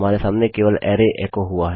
हमारे सामने केवल अराय एको हुआ है